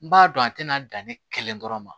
N b'a dɔn a tɛna dan ne kelen dɔrɔn ma